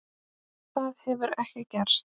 Það hefur ekki gerst.